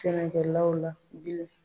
Sɛnɛkɛlaw la bilen